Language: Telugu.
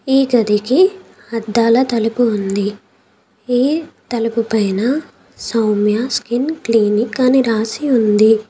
ఈ గదికి అద్దాల తలుపు ఉంది. ఈ తలుపు పైన సౌమ్యాస్ స్కిన్ క్లినిక్ అని రాసి ఉంది.